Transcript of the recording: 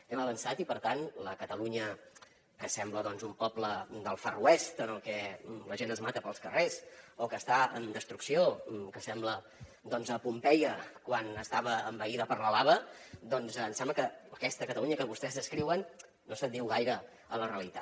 hem avançat i per tant la catalunya que sembla doncs un poble del far west en el que la gent es mata pels carrers o que està en destrucció que sembla doncs pompeia quan estava envaïda per la lava em sembla que aquesta catalunya que vostès descriuen no s’adiu gaire amb la realitat